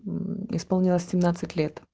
исполнилось